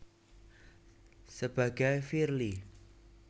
Sebagai Firly